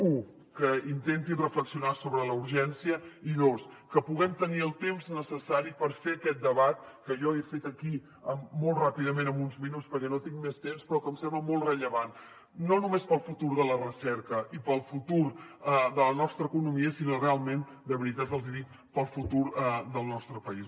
u que intentin reflexionar sobre la urgència i dos que puguem tenir el temps necessari per fer aquest debat que jo he fet aquí molt ràpidament en uns minuts perquè no tinc més temps però que em sembla molt rellevant no només per al futur de la recerca i per al futur de la nostra economia sinó realment de veritat els ho dic per al futur del nostre país